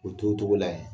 O t'o cogo la yen